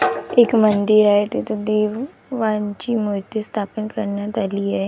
एक मंदिर आहे तिथं देवांची मूर्ती स्थापन करण्यात आली आहे.